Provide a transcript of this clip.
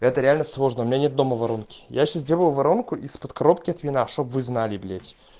это реально сложно у меня нет дома воронки я сейчас делаю воронку из под коробки от вина чтобы вы знали блять